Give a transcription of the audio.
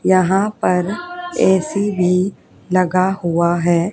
यहां पर ए_सी भी लगा हुआ है।